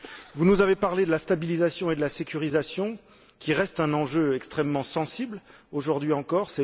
Vous nous avez parlé de la stabilisation et de la sécurisation, qui restent des enjeux extrêmement sensibles, aujourd'hui encore.